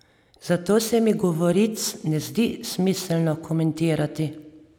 Zato se mi govoric ne zdi smiselno komentirati.